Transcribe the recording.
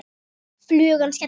Flugan skellur niður.